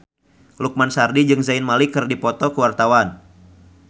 Lukman Sardi jeung Zayn Malik keur dipoto ku wartawan